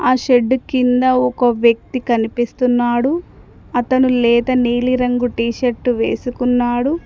ఆ షెడ్డు కింద ఒక వ్యక్తి కనిపిస్తున్నాడు అతను లేత నీలిరంగు టీ షర్టు వేసుకున్నాడు.